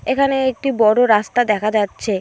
এখানে একটি বড় রাস্তা দেখা যাচ্ছে।